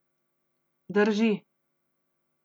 Drži.